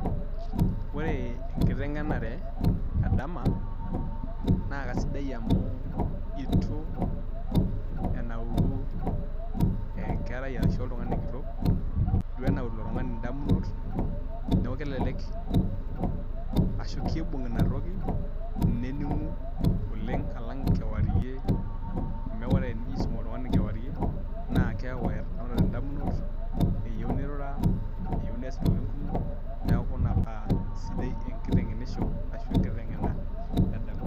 Ore enkiteng'enare edama, naa kasidai amu itu enaru enkerai ashu oltung'ani kitok, itu enauru ilo tung'ani indamunot, neeku kelelek ashu kibung' inatoki, nening'u oleng' alang' kewarie, amu ore enijo aisum oltung'ani kewarie, naa keeku etanaurate indamunot eyieu nirura, eyieu nees intokiting kumok, neeku ina paa sidai enkiteng'enisho ashu enkiteng'ena edama.